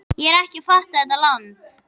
Ég er ekki að fatta þetta land.